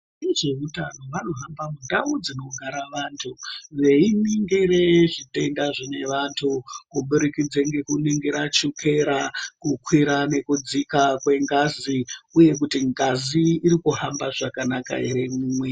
Vezvehutano vanohamba mundau dzinogara vantu veiningira zvitenda zvine vantu kuburikidza nekuningira chukera kukwira nekudzika kwengazi uye kuti ngazi iri kuhamba zvakanaka ere mumwiri.